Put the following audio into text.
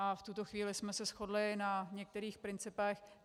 A v tuto chvíli jsme se shodli na některých principech.